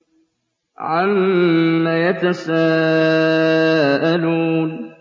عَمَّ يَتَسَاءَلُونَ